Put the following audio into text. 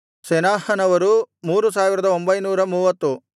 ಸೆನಾಹನವರು 3930